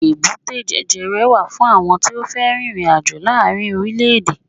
èbúté jẹjẹrẹ wa fún àwọn tí o fe ririnajo laarin orilẹ ede